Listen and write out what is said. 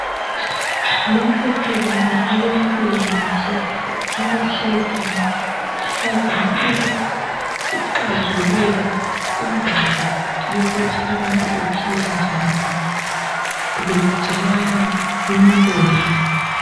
Lapha sibona abempilakahle abahlezi abazama ukucazululu indaba yokuthi abantu abaphile njani betshelana imibono.